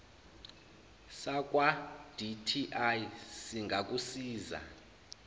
sakwa dti singakusiza